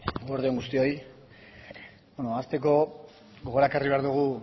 eguerdi on guztioi hasteko gogora ekarri behar dugu